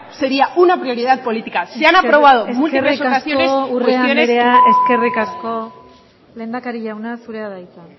sería una prioridad política se han aprobado eskerrik asko urrea andrea cuestiones que eskerrik asko urrea andrea lehendakari jauna zurea da hitza